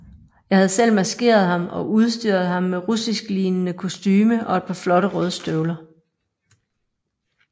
Jeg havde selv maskeret ham og udstyret ham med russisklignende kostume og et par flotte røde støvler